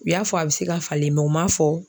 U y'a fɔ a bɛ se ka falen u ma fɔ